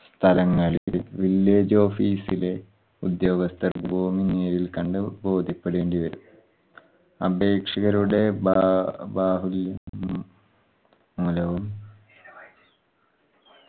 സ്ഥലങ്ങളിൽ village office ഉദ്യോഗസ്ഥർ ഭൂമി നേരിൽ കണ്ട് ബോദ്ധ്യപ്പെടേണ്ടി വരും. അപേക്ഷകരുടെ ഭ ഭാവി മൂലവും